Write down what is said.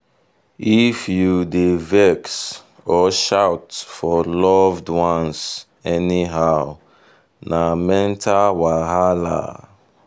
if you dey vex or shout for loved ones anyhow na mental wahala.